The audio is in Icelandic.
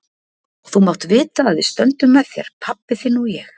Og þú mátt vita að við stöndum með þér, pabbi þinn og ég.